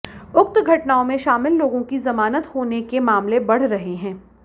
उक्त घटनाओं में शामिल लोगों की जमानत होने के मामले बढ़ रहे हैं